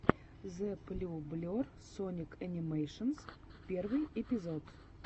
зэблюблер соник анимэйшенс первый эпизод